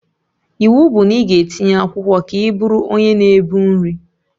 Iwu bụ na ị ga-etinye akwụkwọ ka ị bụrụ onye na-ebu nri